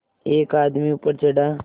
एक आदमी ऊपर चढ़ा